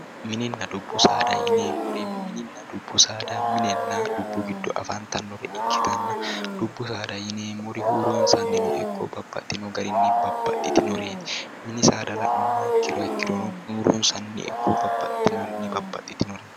Minninna dubbu saada yineemmori minninna dubbu saada minenna dubbu gido afantannore ikitanna dubbu saada yineemmori huuronsaniinno ikko babaxino garinni babaxitino minni saada la'nummoha ikironno huuronsanni babaxitinoreetti